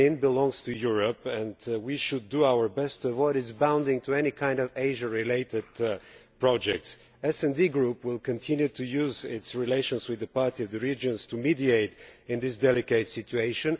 Ukraine belongs to Europe, and we should do our best to avoid it rushing into any kind of Asia related project. The SD Group will continue to use its relations with the parties of the region to mediate in this delicate situation.